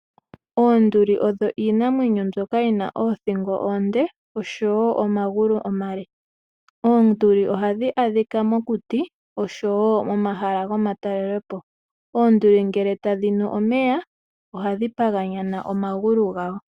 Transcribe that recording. Oonduli odho iinamwenyo ndjoka yina othingo oonde nomagulu omale. Oonguti ohadhi kala mokuti nosho woo miikunino yiinamwenyo na ngele tadhinu omeya ohadhi pandjanananeke omagulu.